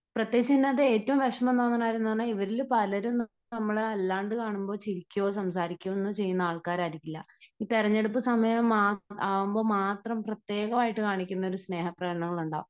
പ്രത്യേകിച്ച് ഇതില് ഏറ്റവും വിഷമം തോന്നുന്ന കാര്യം എന്താണെന്ന് പറഞ്ഞാൽ ഇവരിൽ പലരും നമ്മളെ അല്ലാണ്ട് കാണുമ്പോൾ ചിരിക്കുകയോ സംസാരിക്കുകയോ ഒന്നും ചെയ്യുന്ന ആൾക്കാർ ആയിരിക്കില്ല. തെരഞ്ഞെടുപ്പ് സമയം മാത്രം, ആകുമ്പോൾ മാത്രം പ്രത്യേകം ആയിട്ട് കാണിക്കുന്ന ഒരു സ്നേഹപ്രകടനങ്ങൾ ഉണ്ടാകും.